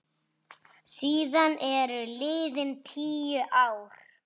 Síðan eru liðin tíu ár.